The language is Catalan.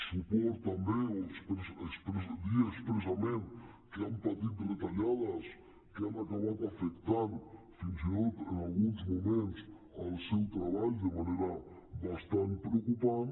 suport també o dir expressament que han patit retallades que han acabat afectant fins i tot en alguns moments el seu treball de manera bastant preocupant